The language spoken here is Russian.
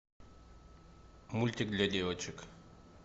мультик для девочек